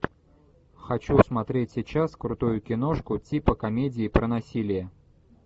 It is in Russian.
хочу смотреть сейчас крутую киношку типа комедии про насилие